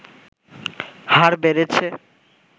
হার বেড়েছে